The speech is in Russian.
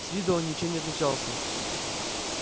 с виду он ничем не отличался